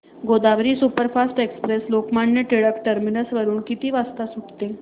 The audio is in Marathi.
Godavari superfast express Lokmanya Tilak terminus वरून किती वाजता सुटते